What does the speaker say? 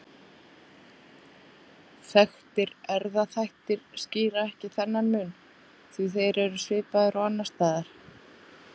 Þekktir erfðaþættir skýra ekki þennan mun því þeir eru svipaðir og annars staðar.